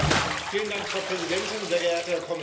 Frau Präsidentin, sehr geehrter Kommissar!